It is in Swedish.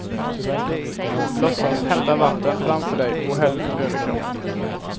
Låtsas hämta vatten framför dig och häll över kroppen.